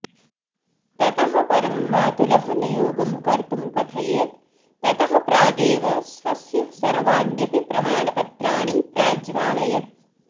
ततः परं मातुलः नियोगं कर्तुं कथयेत् ततः प्रागेव स्वस्य सर्वाण्यपि प्रमाणपत्राणि प्राज्वालयत्